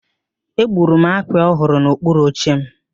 Egburu m akpị ọ hụrụ n'okpuru oche m.